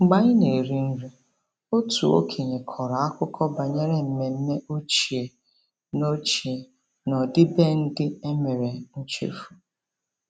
Mgbe anyị na-eri nri, otu okenye kọrọ akụkọ banyere mmemme ochie na ochie na ọdịbendị ndị e mere nchefu.